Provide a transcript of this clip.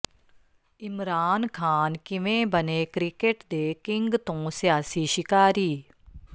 ਇਮਰਾਨ ਖਾਨ ਕਿਵੇਂ ਬਣੇ ਕ੍ਰਿਕੇਟ ਦੇ ਕਿੰਗ ਤੋਂ ਸਿਆਸੀ ਸ਼ਿਕਾਰੀ